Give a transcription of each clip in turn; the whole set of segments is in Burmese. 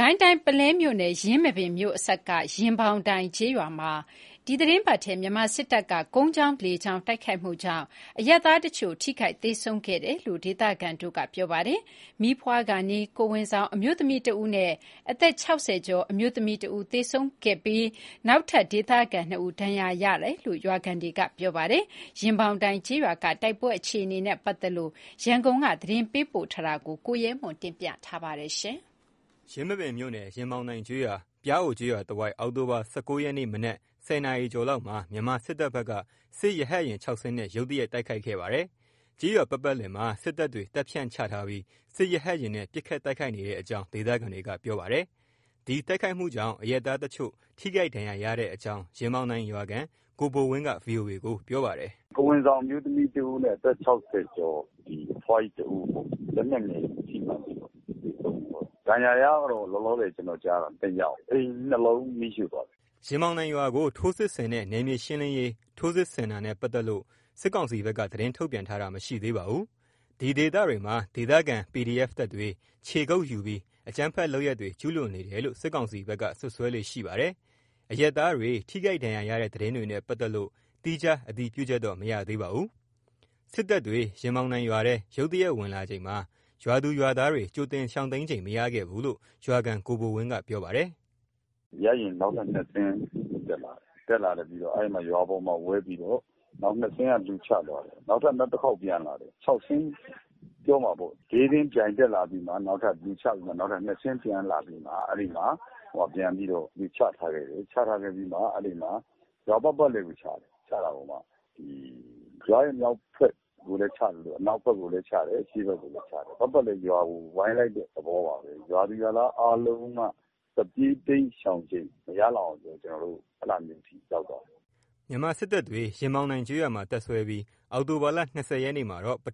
ကိုင်းတိုင်း ပုလဲမြို့နယ် ယင်းမာပင်မြို့အစပ်က ရင်ပေါင်တိုင်ကျေးရွာမှာ ဒီသီတင်းပတ်ထဲ မြန်မာစစ်တပ်က ကုန်းကြောင်း၊ လေကြောင်း တိုက်ခိုက်မှုကြောင့် အရပ်သားတချို့ ထိခိုက်သေဆုံးခဲ့တယ်လို့ ဒေသခံတွေက ပြောပါတယ်။ မီးဖွားကာနီး ကိုယ်ဝန်ဆောင်အမျိုးသမီးတစ်ဦးနဲ့ အသက် ၆၀ ကျော် အမျိုးသမီးတစ်ဦး သေဆုံးသွားပြီး၊ နောက်ထပ် ဒေသခံ ၂ဦး ဒဏ်ရာရရှိတာလို့ ရွာခံတွေက ပြောပါတယ်။ ရင်ပေါင်တိုင် ကျေးရွာက တိုက်ပွဲအခြေအနေနဲ့ ပတ်သက်လို့ ရန်ကုန်က သတင်းပေးပို့ထားတာကို ကိုရဲမွန်က တင်ပြပေးထားပါတယ်။ ယင်းမာပင်မြို့နယ် ရင်ပေါင်တိုင်ကျေးရွာ၊ ပျားအိုကျေးရွာတဝိုက် အောက်တိုဘာ ၁၉ ရက် မနေ့ မနက် ၁၀ နာရီကျော်လောက်မှာ မြန်မာစစ်တပ်ဘက်က စစ်ရဟတ်ယာဉ် ၆ စင်းနဲ့ ရုတ်တရက် တိုက်ခိုက်ခဲ့ပါတယ်၊ ကျေးရွာပတ်ပတ်လည်မှာ စစ်တပ်တွေတပ်ဖြန့် ချထားပြီးစစ်ရဟတ်ယာဉ်နဲ့ ပစ်ခတ်တိုခိုက်နေတဲ့ အကြာင်း ဒေသခံတွေက ပြေပါတယ်။ ဒီတိုက်ခိုက်မှုကြောင့် အရပ်သားတချို့ ထိခိုက်ဒဏ်ရာရတဲ့အကြောင်း ရင်ပေါင်တိုင်ရွာခံ ကိုဘိုဝင်းက VOA ကို ပြောပါတယ်။ “ကိုယ်ဝန်ဆောင်အမျိုးသမီးတစ်ဦးနဲ့ အသက် ၆၀ ကျော် ဒီအဖွားကြီးတစ်ဦးပေါ့ လက်နက်ငယ်ထိမှန်းပြီးတော့ သေဆုံးသွားတာ၊ ဒဏ်ရာရတာကလောလော ကျနော်ကြားတာ နှစ်ယောက်အိမ်နှစ်လုံးမီးရှို့သွားတယ်။” ရင်ဘောင်တိုင်ရွာကို ထိုးစစ်ဆင်တဲ့ နယ်မြေရှင်းလင်းရေး ထိုးစစ်ဆင်နဲ့ ပတ်သက်လို့ စစ်ကောင်စီဘက်က သတင်းထုတ်ပြန်တာ မရှိသေးပါဘူး။ ဒီဒေသတွေမှာ ဒေသခံ PDF တပ်တွေ ခြေကုတ်ယူပြီးအကြမ်းဖက်လုပ်ရပ်တွေ ကျုးလွန်နေတယ်လို့ စစ်ကောင်စီဘက်က စွပ်စွဲလေ့ရှိပါတယ်။ အရပ်သားတွေ ထိခိုက်ဒဏ်ရာရတဲ့ သတင်းတွေနဲ့ ပတ်သက်လို့ သီးခြားအတည်ပြုချက်တော့ မရသေးပါဘူး။စစ်တပ်တွေ ရင်တောင်တိုင်ရွာထဲ ရုတ်တရက်ဝင်လာချိန်မှာ ရွာသူရွာသားတွေ ကြိုတင်ရှောင်တိမ်းချိန်မရခဲ့ဘူးလို့ ရွာခံ ကိုဘိုဝင်းက ပြောပါတယ်။ “ရဟတ်ယာဉ်နောက်ထပ် ၂စင်းတက်လာတယ်။ တက်လာပြီးတော့ အဲ့မှာ ရွာပေါ်မှာဝဲပြီးတော့ နောက် ၂စင်းက လူချသွားတယ်။ နောက်ထပ် နောက်တစ်ခေါက်ပြန်လာတယ် ၆စင်းပြောမှာပေါ့ ၄စင်းပြိုင်တက်လာပြီးမှ နောက်တပ်လူ ချပြီးမှ နောက်ထပ် ၂စင်းပြန်လာပြီမှ အဲ့ဒီမှာ ပြန်ပြီးတော့လူချထားခဲ့တယ် ချထားခဲ့ပြီးမှအဲ့ဒီမှာ ရွာပတ်ပတ်လည်ကို ချတယ်၊ ချတာကိုမှရွာရဲ့ မြောက်ဖက်ကိုလည်းချသလို အနောက်ဖက်ကိုလည်းချတယ် အရှေ့ဖက်ကိုလည်း ချတယ် ပတ်ပတ်လည်ရွာကို ဝိုင်းလိုက်တဲ့ သဘောပါပဲ ရွာသူရွာသားအားလုံးက ထွက်ပြေးတိမ်းရှောင်ချိန်မရလောက်အောင် ကျနော်တို့အဲ့ဒါမျိုးထိရောက်သွားတယ်။” မြန်မာစစ်တပ်တွေ မနေ့ညက ရင်ပေါင်တိုင်ကျေးရွာမှာ တပ်စွဲပြီး ဒီကနေ့ ပု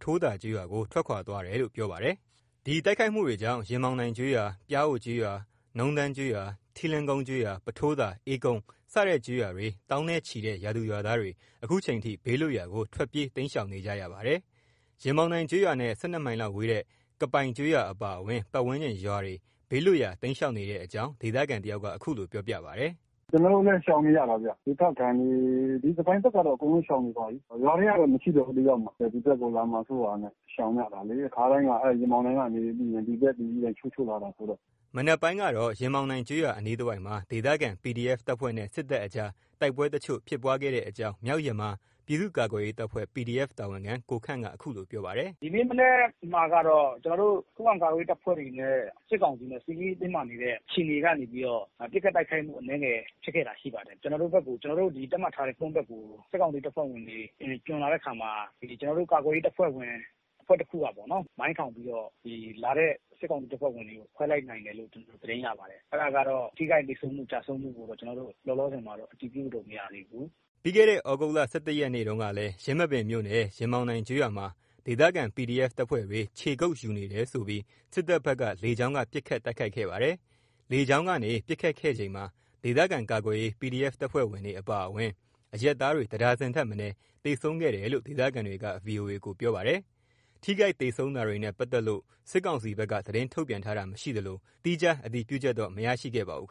ထိုးသာကျေးရွာကို ထွက်ခွာသွားတယ်လို့ ပြောပါတယ်။ ဒီတိုက်ခိုက်မှုတွေကြောင့် ရင်ပေါင်တိုင်ကျေးရွာ၊ ပျားအိုကျေးရွ၊ နုံးတန်းကျေးရွာ ထီလင်ကုန်းကျေးရွာ၊ ပုထိုးသာ၊ အေးကုန်းစတဲ့ ကျေးရွာတွေ သောင်းနဲ့ ချီးတဲ့ ရွာသူရွာသားတွေ ခုချိန်ထိ ဘေးလွတ်ရာကို ထွက်ပြေးတိမ်း ရှောင်နေကြရပါတယ်။ ရင်ပေါင်တိုင်ကျေးရွာနဲ့ ၁၂ မိုင်လောက်ဝေတဲ့ ကပိုင်ကျေးရွာအပါအဝင် ပတ်ဝန်းကျင်ရွာတွေ ဘေးလွတ်ရာ ရှောင်တိမ်းနေတဲ့အကြောင်း ဒေသခံတယောက်က အခုလို ပြောပါတယ်။ “ကျနော်တို့လည်း ရှောင်နေရတာဗျ။ ဒေသခံတွေ ဒီ ကပိုင်ဘက်ကတော့ အကုန်လုံးရှောင်နေပါပြီး ရွာထဲကတော့ မရှိတော့ဘူး တစ်ယောက်မှ။ ဒီဖက်ကို လာမှစိုးတာနဲ့ ရှောင်ရတာလေ ခါတိုင်းက အဲ့ရင်ပေါင်တိုင်ကနေပြီးရင် ဒီဖက်တွေ ပြန်ချိုးချိုးလာတယ်ဆိုတော့။” ဒီနေ့မနက်ပိုင်းကတော့ ရင်ပေါင်တိုင်ကျေးရွာအနီးတဝိုက်မှာ ဒေသခံ PDF တပ်ဖွဲ့နဲ့ စစ်တပ်အကြား တိုက်ပွဲယ်တချို့ ဖြစ်ပွားခဲ့တဲ့အကြောင်း မြောက်ယမား ပြည်သူ့ကာကွယ်ရေးတပ်ဖွဲ့ PDF တာဝန်ခံ ကိုခန့်က ခုလို ပြောပါတယ်။ “ဒီနေ့မနက်မှာတော့ ကျနော်တို့ ခုခံကာကွယ်ရေးတပ်ဖွဲ့တွေနဲ့ စစ်ကောင်စီနဲ့ စစ်ရေးတင်းမာနေတဲ့ အခြေအနေကနေပြီးတော့ ပစ်ခတ်တိုက်ခိုက်မှုအနည်းငယ်ဖြစ်ခဲ့တာရှိပါတယ်။ ကျနော်တို့ဘက်ကို ကျနော်တို့ သတ်မှတ်ထားတဲ့ ကုန်းဘက်ကိုစစ်ကောင်စီတပ်ဖွဲ့ဝင်တွေကျွံလာတဲ့အခါမှာ ဒီကျနော်တို့ ကာကွယ်ရေးတပ်ဖွဲ့ ဝင်အဖွဲ့တခုကပေ့ါနော် မိုင်းထောင်ပြီးတော့ ဒီလာတဲ့စစ်ကောင်စီတပ်ဖွဲ့ဝင်တွေကို မိုင်းထောင်ပြီးတော့ ခွဲလိုက်နိုင်တယ်လို့ ကျနော်တို့သတင်းရပါတယ် အဲ့ဒါကတော့ ထိခိုက်သေဆုံးမှု ကျဆုံးမှုကိုတော့ ကျနော်တို့ လောလောဆယ်မှာတော့ အတည်ပြုလို့မရသေးဘူး။” ပြီးတဲ့သြဂုတ်လ ၁၁ ရက်တုန်းကလည်း ယင်းမာပင်မြို့နယ် ရင်ပေါင်တိုင်ကျေးရွာမှာ ဒေသခံ PDF တပ်ဖွဲ့တွေ ခြေကုတ်ယူနေတယ်ဆိုပြီး စစ်တပ်ဘက်က လေကြောင်းက ပစ်ခတ်တိုက်ခိုက်ခဲ့ပါတယ်။ လေကြောင်းကနေ ပစ်ခတ်ခဲ့ချိန်မှာ ဒေသခံကာကွယ်ရေး PDF တပ်ဖွဲ့ဝင်တွေ အပါအဝင် အရပ်သားတွေ တဒါဇင်ထက်မနည်း သေဆုံးခဲ့တယ်လို့ ဒေသခံတွေက VOA ကို ပြောဆိုပါတယ်။ ထိခိုက်သေဆုံးတာတွေနဲ့ ပတ်သက်လို၌ စစ်ကောင်စီဘက်က သတင်းထုတ်ပြန်တာ မရှိသလို သီးခြားအတည်ပြုချက်တော့ မရရှိခဲ့ပါဘူး